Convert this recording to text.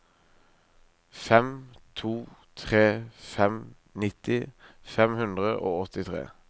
fem to tre fem nitti fem hundre og åttitre